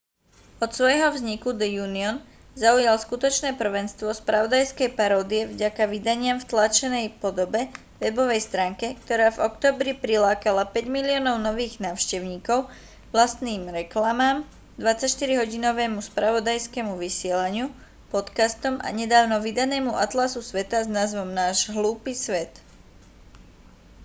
od svojho vzniku the onion zaujal skutočné prvenstvo spravodajskej paródie vďaka vydaniam v tlačenej podobe webovej stránke ktorá v októbri prilákala 5 000 000 nových návštevníkov vlastným reklamám 24-hodinovému spravodajskému vysielaniu podcastom a nedávno vydanému atlasu sveta s názvom náš hlúpy svet